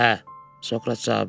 Hə, Sokrat cavab verdi.